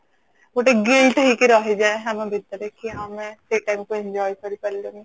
ଗୋଟେ guilt ହେଇକି ରହି ଯାଏ ଆମ ଭିତରେ କି ହଁ ଆମେ ସେଇ time କୁ enjoy କରି ପାରିଲୁନି